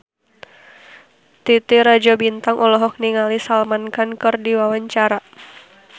Titi Rajo Bintang olohok ningali Salman Khan keur diwawancara